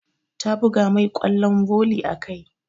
Ta buga mai ƙwallon volley a kai.